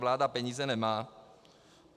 Vláda peníze nemá.